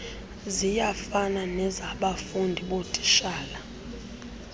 ziyafana nezabafundi zootitshala